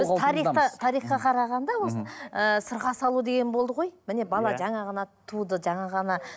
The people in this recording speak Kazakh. біз тарихта тарихқа қарағанда осыны ыыы сырға салу деген болды ғой міне бала жаңа ғана туды жаңа ғана